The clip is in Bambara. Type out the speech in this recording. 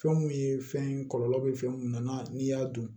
Fɛn mun ye fɛn ye kɔlɔlɔ bɛ fɛn min nana n'i y'a dun